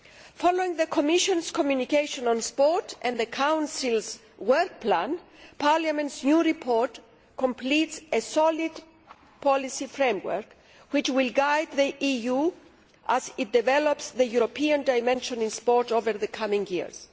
Following on from the Commission's communication on sport and the Council's work plan, Parliament's new report completes a solid policy framework which will guide the EU as it develops the European dimension in sport over the coming years.